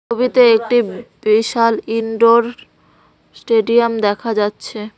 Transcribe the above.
ছবিতে একটি বিশাল ইনডোর স্টেডিয়াম দেখা যাচ্ছে।